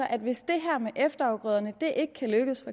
at hvis det her med efterafgrøderne ikke kan lykkes